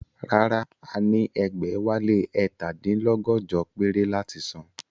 Rárá, a ní ẹgbẹ̀wálé ẹ̀ta dín lọ́gọ́jọ péré láti san